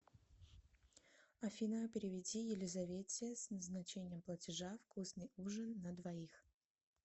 афина переведи елизавете с назначением платежа вкусный ужин на двоих